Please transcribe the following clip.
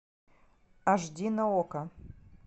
аш ди на окко